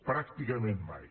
pràcticament mai